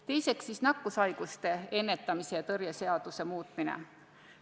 Teiseks, nakkushaiguste ennetamise ja tõrje seaduse muutmine.